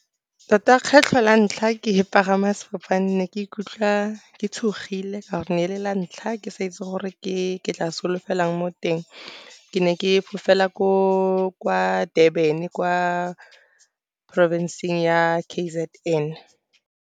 Tota kgetlho la ntlha ke pagama sefofane, ne ke ikutlwa ke tshogile ka gore ne le la ntlha ke sa itse gore ke tla solofela eng mo teng. Ke ne ke fofela kwa Durban, kwa porofenseng ya K_Z_N.